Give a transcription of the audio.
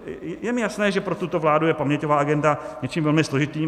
Je mi jasné, že pro tuto vládu je paměťová agenda něčím velmi složitým.